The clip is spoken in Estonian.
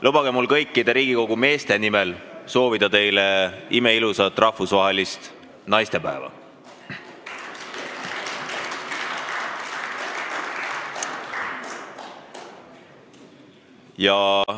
Lubage mul kõikide Riigikogu meeste nimel soovida teile imeilusat rahvusvahelist naistepäeva!